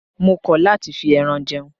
Mo kọ̀ láti fi ẹran jẹun.